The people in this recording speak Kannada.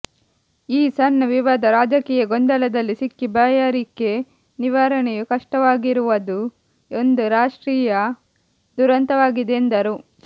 ಈ ಸಣ್ಣ ವಿವಾದ ರಾಜಕೀಯ ಗೊಂದಲದಲ್ಲಿ ಸಿಕ್ಕಿ ಬಾಯಾರಿಕೆ ನಿವಾರಣೆಯು ಕಷ್ಟವಾಗಿರುವದು ಒಂದು ರಾಷ್ಟ್ರೀಯ ದುರಂತವಾಗಿದೆ ಎಂದರು